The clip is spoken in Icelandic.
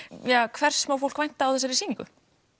hvers má fólk vænta á þessari sýningu